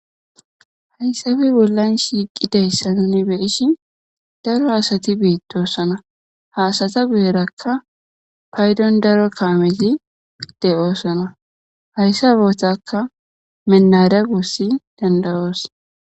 hayssabi bollan shiiqidayssa nuni beyishin daro asati beitdossona haasata guyerakka paydon daro kaamesi de7oosona hayssa bootakka menara gussi dandayoos